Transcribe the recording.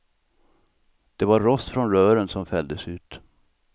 Det var rost från rören som fälldes ut.